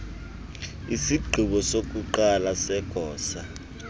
isigqibo sokuqala segosa